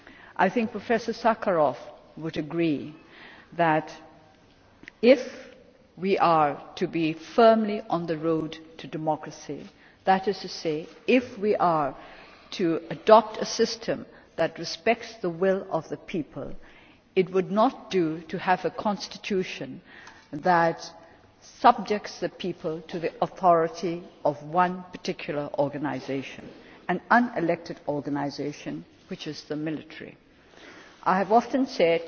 I think Professor Sakharov would agree that, if we are to be firmly on the road to democracy that is to say, if we are to adopt a system that respects the will of the people it would not do to have a constitution that subjects the people to the authority of one particular organisation an unelected organisation, which is the military. I have often